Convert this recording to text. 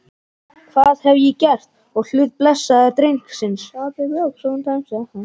Hvað hef ég gert á hlut blessaðs drengsins?